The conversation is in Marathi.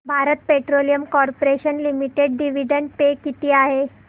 Bharat petroleum corporation limited dividend pay किती आहे